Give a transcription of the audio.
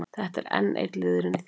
Þetta er enn einn liðurinn í því.